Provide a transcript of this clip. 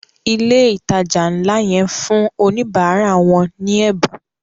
ilé ìtàjà nlá ye ń fún Oníbàárà wón ní Ẹbùn.